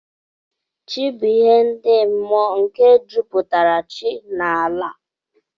Chi bu ihe ndi mụọ nke juputara chi na ala.